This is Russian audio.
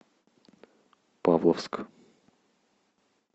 павловск